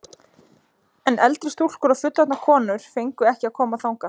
En eldri stúlkur og fullorðnar konur fengu ekki að koma þangað.